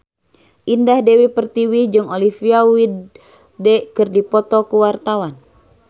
Indah Dewi Pertiwi jeung Olivia Wilde keur dipoto ku wartawan